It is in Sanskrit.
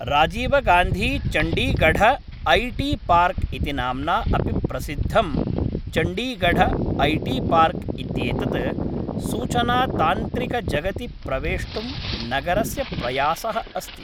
राजीवगान्धीचण्डीगढ ऐ टी पार्क इति नाम्ना अपि प्रसिद्धं चण्डीगढ ऐ टी पार्क् इत्येतत् सूचनातान्त्रिकजगति प्रवेष्टुं नगरस्य प्रयासः अस्ति।